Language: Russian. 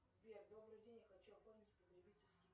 сбер добрый день я хочу оформить потребительский